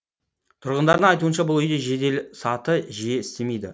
тұрғындардың айтуынша бұл үйде жеделсаты жиі істемейді